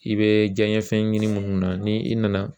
I bɛ diɲɛ fɛn ɲini minnu na ni i nana